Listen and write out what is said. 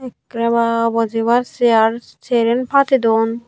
ekkrey bwaa bojebar chair sheren padeydun.